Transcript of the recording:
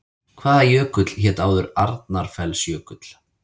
Hvaða jökull hét áður Arnarfellsjökull?